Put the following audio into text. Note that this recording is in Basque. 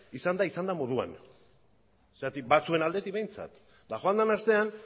izan da izan den moduan batzuen aldetik behintzat eta joan den astean